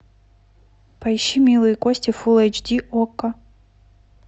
поищи милые кости фул эйч ди окко